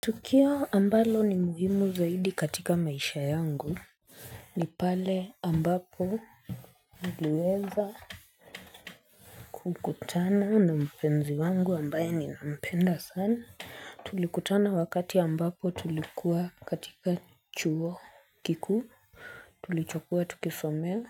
Tukio ambalo ni muhimu zaidi katika maisha yangu. Ni pale ambapo niliweza kukutana na mpenzi wangu ambaye nilimpenda sana. Tulikutana wakati ambapo tulikuwa katika chuo kikuu. Tulichokuwa tukisomeo.